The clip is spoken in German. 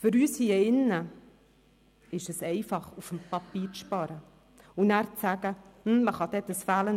Für uns hier im Grossen Rat ist es einfach, auf dem Papier zu sparen und nachher zu sagen: